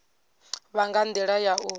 vha nga ndila ya u